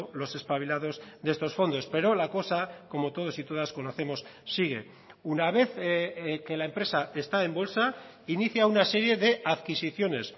los espabilados de estos fondos pero la cosa como todos y todas conocemos sigue una vez que la empresa está en bolsa inicia una serie de adquisiciones